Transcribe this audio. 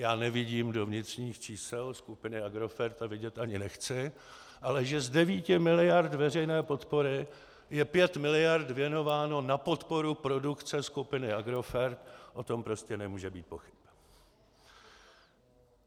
Já nevidím do vnitřních čísel skupiny Agrofert a vidět ani nechci, ale že z 9 miliard veřejné podpory je 5 miliard věnováno na podporu produkce skupiny Agrofert, o tom prostě nemůže být pochyb.